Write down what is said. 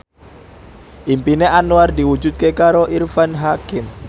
impine Anwar diwujudke karo Irfan Hakim